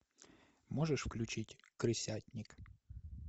можешь включить крысятник